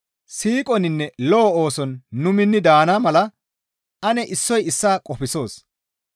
Siiqoninne lo7o ooson nu minni daana mala ane issoy issaa qofsoos.